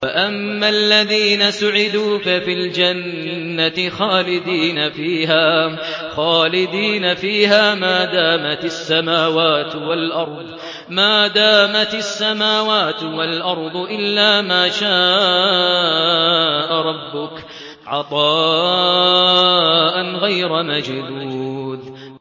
۞ وَأَمَّا الَّذِينَ سُعِدُوا فَفِي الْجَنَّةِ خَالِدِينَ فِيهَا مَا دَامَتِ السَّمَاوَاتُ وَالْأَرْضُ إِلَّا مَا شَاءَ رَبُّكَ ۖ عَطَاءً غَيْرَ مَجْذُوذٍ